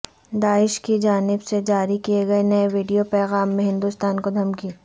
داعش کی جانب جاری کئے گئے نئے ویڈیو پیغام میں ہندوستان کو دھمکی